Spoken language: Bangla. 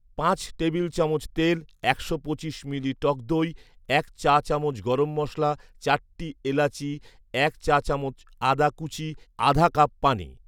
পাঁচ টেবিল চামচ তেল একশো পঁচিশ মিলি টক দই এক চা চামচ গরম মশলা চারটি এলাচি এক চা চামচ আদা কুচি আধা কাপ পানি